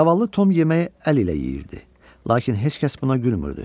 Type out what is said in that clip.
Zavallı Tom yeməyi əl ilə yeyirdi, lakin heç kəs buna gülmürdü.